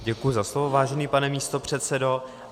Děkuji za slovo, vážený pane místopředsedo.